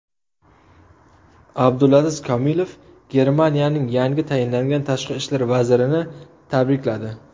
Abdulaziz Komilov Germaniyaning yangi tayinlangan tashqi ishlar vazirini tabrikladi.